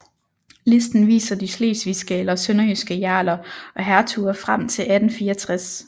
Listen viser de slesvigske eller sønderjyske jarler og hertuger frem til 1864